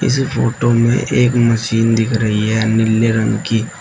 इस फोटो में एक मशीन दिख रही है नीले रंग की।